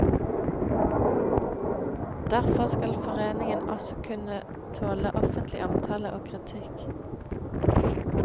Derfor skal foreningen også kunne tåle offentlig omtale og kritikk.